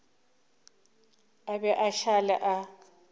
a be a šale a